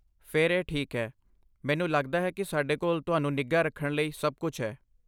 ਫਿਰ ਇਹ ਠੀਕ ਹੈ। ਮੈਨੂੰ ਲੱਗਦਾ ਹੈ ਕਿ ਸਾਡੇ ਕੋਲ ਤੁਹਾਨੂੰ ਨਿੱਘਾ ਰੱਖਣ ਲਈ ਸਭ ਕੁਝ ਹੈ।